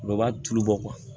U bɛ b'a tulu bɔ